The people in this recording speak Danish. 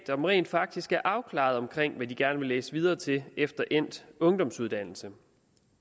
som rent faktisk er afklarede omkring hvad de gerne vil læse videre til efter endt ungdomsuddannelse